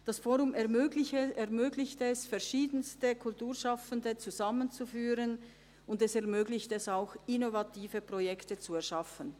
Das «fOrum» ermöglicht es, verschiedenste Kulturschaffende zusammenzuführen, und es ermöglicht auch, innovative Projekte zu erschaffen.